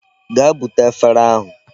Gaa bute efere ahụ.